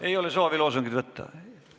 Ei ole soovi loosungeid ära võtta?